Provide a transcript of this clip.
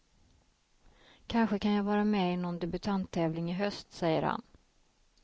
Kanske kan jag vara med i någon debutanttävling i höst, säger han.